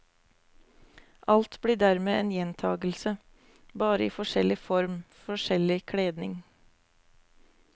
Alt blir dermed en gjentagelse, bare i forskjellig form, forskjellig kledning.